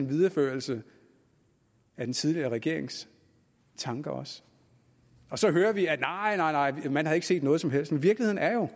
videreførelse af den tidligere regerings tanker og så hører vi at nej man har ikke set noget som helst men virkeligheden er jo